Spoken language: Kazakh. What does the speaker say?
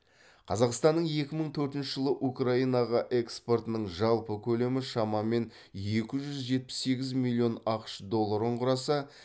қазақстанның екі мың төртінші жылы украинаға экспортының жалпы көлемі шамамен екі жүз жетпіс сегіз миллион ақш долларын құраса